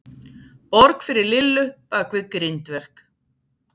Borg fyrir Lillu bakvið grindverk.